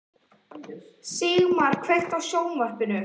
Sigmar, kveiktu á sjónvarpinu.